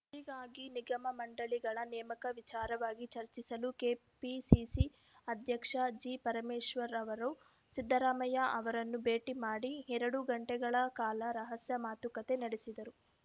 ಹೀಗಾಗಿ ನಿಗಮಮಂಡಳಿಗಳ ನೇಮಕ ವಿಚಾರವಾಗಿ ಚರ್ಚಿಸಲು ಕೆಪಿಸಿಸಿ ಅಧ್ಯಕ್ಷ ಜಿಪರಮೇಶ್ವರ್‌ ಅವರು ಸಿದ್ದರಾಮಯ್ಯ ಅವರನ್ನು ಭೇಟಿ ಮಾಡಿ ಎರಡು ಗಂಟೆಗಳ ಕಾಲ ರಹಸ್ಯ ಮಾತುಕತೆ ನಡೆಸಿದರು